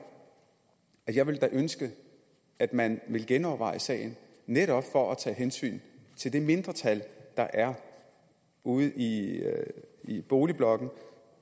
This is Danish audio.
at jeg da ville ønske at man ville genoverveje sagen netop for at tage hensyn til det mindretal der er ude i i boligblokkene